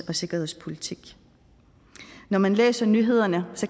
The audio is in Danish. og sikkerhedspolitik når man læser nyhederne